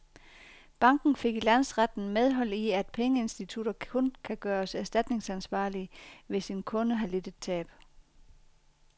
Banken fik i landsretten medhold i, at pengeinstitutter kun kan gøres erstatningsansvarlige, hvis en kunde har lidt et tab.